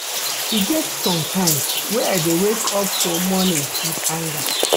E get sometimes wey I dey wake up for morning wit anger.